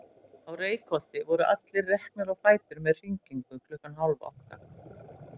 Á Reykholti voru allir reknir á fætur með hringingu klukkan hálf átta.